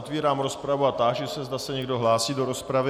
Otevírám rozpravu a táži se, zda se někdo hlásí do rozpravy.